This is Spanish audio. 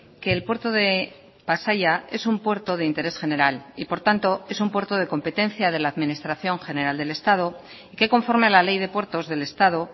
que el puerto de pasaia es un puerto de interés general y por tanto es un puerto de competencia de la administración general del estado que conforme a la ley de puertos del estado